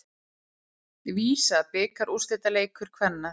VISA bikarúrslitaleikur kvenna